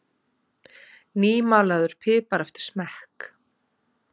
nýmalaður pipar eftir smekk